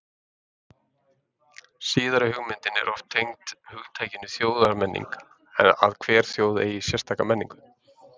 Síðari hugmyndin er oft tengd hugtakinu þjóðmenning, að hver þjóð eigi sérstaka menningu.